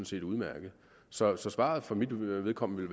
set udmærket så så svaret for mit vedkommende